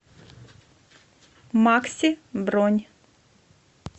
макси бронь